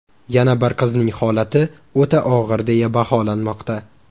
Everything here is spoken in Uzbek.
Yana bir qizning holati o‘ta og‘ir deya baholanmoqda.